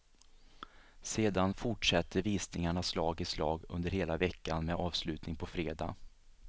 Sedan fortsätter visningarna slag i slag under hela veckan med avslutning på fredag.